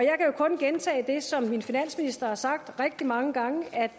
kun gentage det som min finansminister har sagt rigtig mange gange